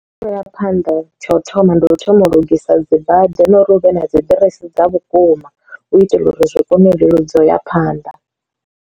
U ya phanḓa tsha u thoma ndi u thoma u lugisa dzibada na uri huvhe na dzi ḓiresi dza vhukuma u itela uri zwi kone u leludza u ya phanḓa.